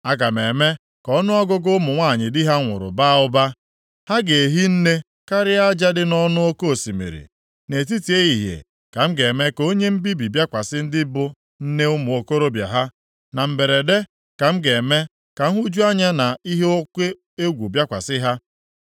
Aga m eme ka ọnụọgụgụ ụmụ nwanyị di ha nwụrụ baa ụba. Ha ga-ehi nne karịa aja dị nʼọnụ oke osimiri. Nʼetiti ehihie ka m ga-eme ka onye mbibi bịakwasị ndị bụ nne ụmụ okorobịa ha; na mberede ka m ga-eme ka nhụju anya na ihe oke egwu bịakwasị ha.